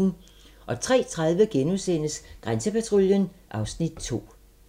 03:30: Grænsepatruljen (Afs. 2)*